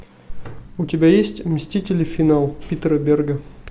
у тебя есть мстители финал питера берга